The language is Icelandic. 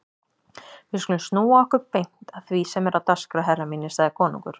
Við skulum snúa okkur beint að því sem er á dagskrá herrar mínir, sagði konungur.